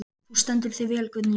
Þú stendur þig vel, Guðný!